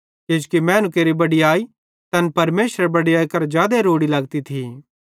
किजोकि मैनू केरि बड़याई तैन परमेशरेरी बड़याई करां जादे रोड़ी लगती थी